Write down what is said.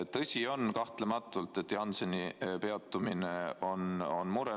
Tõsi, kahtlematult on Jansseni kasutamise peatumine mure.